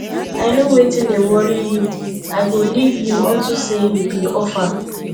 i know wetin dey worry you i go leave you unto say you be orphan